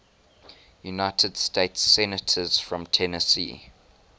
united states senators from tennessee